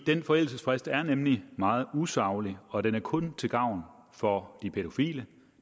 den forældelsesfrist er nemlig meget usaglig og den er kun til gavn for de pædofile